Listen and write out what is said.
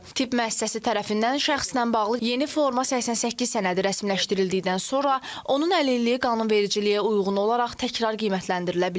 Tibb müəssisəsi tərəfindən şəxslə bağlı yeni forma 88 sənədi rəsmiləşdirildikdən sonra onun əlilliyi qanunvericiliyə uyğun olaraq təkrar qiymətləndirilə bilər.